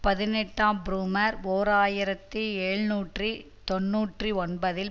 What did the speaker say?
பதினெட்டாம் புரூமர் ஓர் ஆயிரத்தி எழுநூற்று தொன்னூற்றி ஒன்பதில்